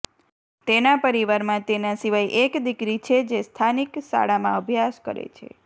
તેના પરિવારમાં તેના સિવાય એક દીકરી છે જે સ્થાનિક શાળામાં અભ્યાસ કરે છે